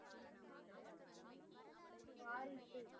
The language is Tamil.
வாரிசு